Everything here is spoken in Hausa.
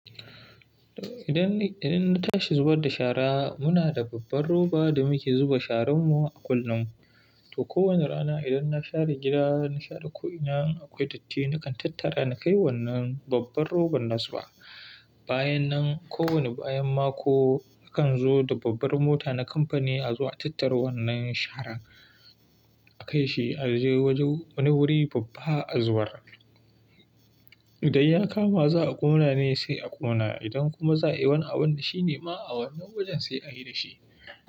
Idan, idan na tashi zubar da shara, muna da babbar roba da muke zuba shararmu a kullum. To kowane rana idan na share gida, na share ko'ina, akwai datti, nakan tattara na kai wannan babbar roban nazu ba. Bayan nan ko wani bayan mako, akan zo da babbar mota na kamfani a zo a tattara wannan sharan, a kai shi a je wajen wani wuri babba a zubar. Idan ya kama za'a ƙona ne sai a ƙona. Idan kuma za'a yi wani abu da shi ne ma a wannan wajen sai a yi da shi.